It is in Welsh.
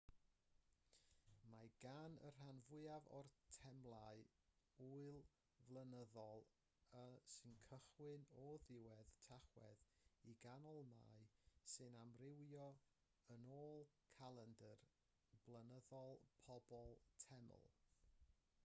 mae gan y rhan fwyaf o'r temlau ŵyl flynyddol sy'n cychwyn o ddiwedd tachwedd i ganol mai sy'n amrywio yn ôl calendr blynyddol pob teml